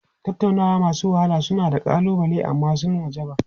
Tattaunawa masu wahala suna da ƙalubale amma sun wajaba.